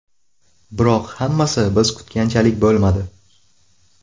Biroq hammasi biz kutganchalik bo‘lmadi.